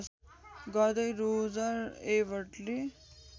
गर्दै रोजर एबर्टले